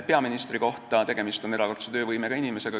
Peaministri kohta ütlen, et tegemist on erakordse töövõimega inimesega.